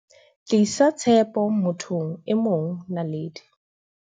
Tlisa tshepo mo thong e mongNaledi